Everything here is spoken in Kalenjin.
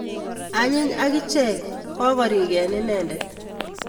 Anyiny akichek kokorik en inedet